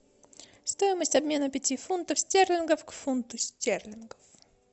стоимость обмена пяти фунтов стерлингов к фунту стерлингов